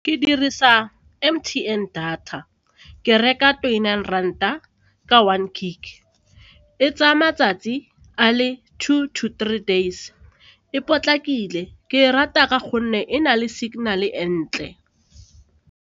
Ke dirisa M_T_N data, ke reka twenty-nine ranta ka one gig, e tsaya matsatsi a le two to three days, e potlakile, ke e rata ka gonne e na le signal-e e ntle.